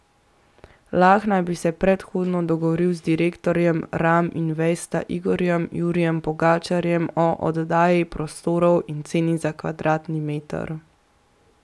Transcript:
Lah naj bi se predhodno dogovoril z direktorjem Ram Investa Igorjem Jurijem Pogačarjem o oddaji prostorov in ceni za kvadratni meter.